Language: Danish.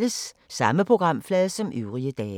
Samme programflade som øvrige dage